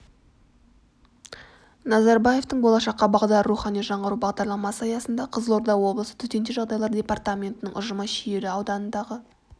назарбаевтың болашаққа бағдар рухани жаңғыру бағдарламасы аясында қызылорда облысы төтенше жағдайлар департаментінің ұжымы шиелі ауданындағы